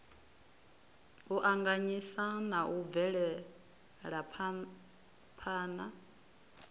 u anganyisa na u bvelaphana